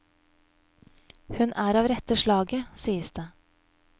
Hun er av rette slaget, sies det.